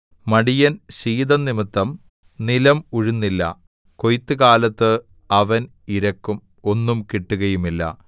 മടിയൻ ശീതം നിമിത്തം നിലം ഉഴുന്നില്ല കൊയ്ത്തുകാലത്ത് അവൻ ഇരക്കും ഒന്നും കിട്ടുകയുമില്ല